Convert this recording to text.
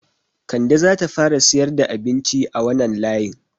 Kande zata fara siyar da abinci a wanan layin